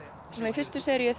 í fyrstu seríu